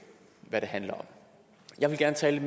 hvad det handler om jeg vil gerne tale